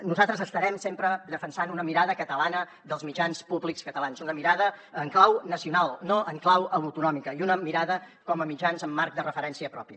nosaltres estarem sempre defensant una mirada catalana dels mitjans públics catalans una mirada en clau nacional no en clau autonòmica i una mirada com a mitjans amb marc de referència propi